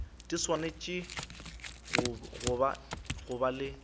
di swanetše go ba le